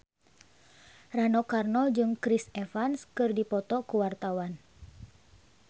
Rano Karno jeung Chris Evans keur dipoto ku wartawan